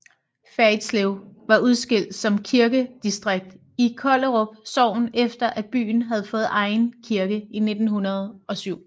Fjerritslev var udskilt som kirkedistrikt i Kollerup Sogn efter at byen havde fået egen kirke i 1907